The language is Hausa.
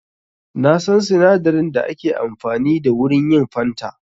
Na san sinadarin da ake amfani da wurin yin fanta.